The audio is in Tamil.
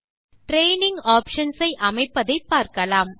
ட்ரெய்னிங் ஆப்ஷன்ஸ் ஐ அமைப்பதை பார்க்கலாம்